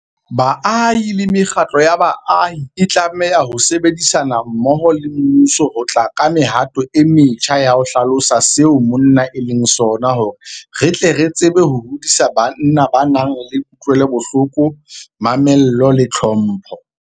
Baahi le mekgatlo ya baahi e tlameha ho sebedisana mmoho le mmuso ho tla ka mehato e metjha ya ho hlalosa seo monna e leng sona hore re tle re tsebe ho hodisa banna ba nang le kutlwelobohloko, mamello le tlhompho.